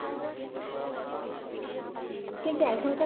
কিন্তু এখনকার